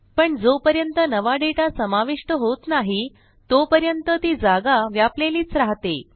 पण जोपर्यंत नवा डेटा समाविष्ट होत नाही तोपर्यंत ती जागा व्यापलेलीच राहते